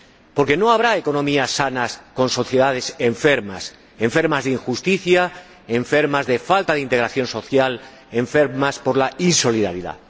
Porque no habrá economías sanas con sociedades enfermas Enfermas de injusticia, enfermas de falta de integración social, enfermas por la insolidaridad.